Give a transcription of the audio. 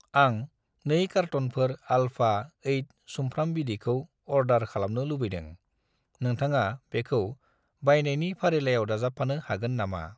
आं 2 कारट'नफोर आल्फा 8 सुमफ्राम बिदैखौ अर्दार खालामनो लुबैदों, नोंथाङा बेखौ बायनायनि फारिलाइयाव दाजाबफानो हागोन नामा?